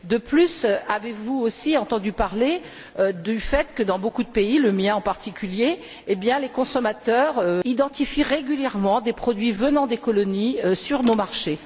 De plus, avez vous aussi entendu parler du fait que, dans beaucoup de pays, le mien en particulier, les consommateurs identifient régulièrement des produits venant des colonies sur nos marchés?